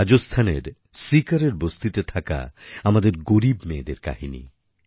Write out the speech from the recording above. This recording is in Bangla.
রাজস্থানের সীকরের বস্তিতে থাকা আমাদের গরীব মেয়েদের কাহিনি